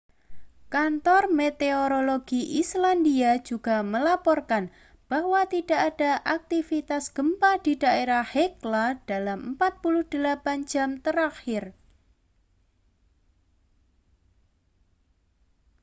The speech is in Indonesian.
kantor meteorologi islandia juga melaporkan bahwa tidak ada aktivitas gempa di daerah hekla dalam 48 jam terakhir